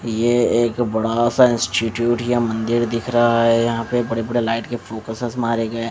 ये एक बड़ा सा इंस्टिट्यूट या मंदिर दिख रहा है यहां पे बड़े बड़े लाइट के फोकसस मारे गए हैं।